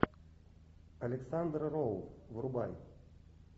александр роу врубай